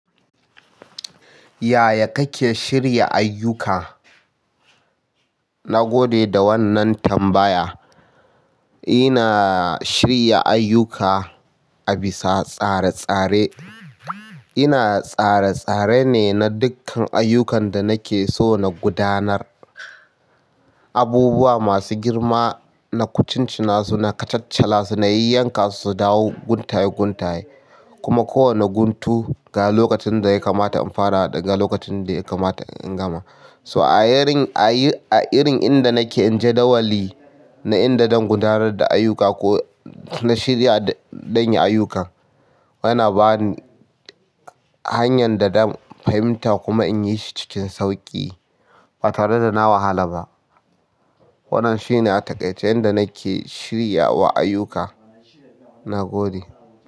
Yaya kake shirya ayyuka? Na gode da wannan tambaya. Ina shirya ayuka a bisa tsare-tsare. Ina tsare-tsare ne na dukkan ayukan da nake so na gudanar. Abubuwa masu girma, na kucin cinasu na kacaccalasu na yayyankasu su dawo gun taye kuma kowane guntu ga lokacin da ya kamata in fara da ga lokacin da ya kamata in gama. So a yin, a yi, a irin inda nake in jadawali na inda zan gudanar da ayuka ko na shirya dan yi ayukan. Yana bani hanyar da ɗan fahimta kuma in yi shi cikin sauƙi ba tare da na wahala ba. Wannan shi ne a takaice yanda nake shirya wa ayuka. Na gode.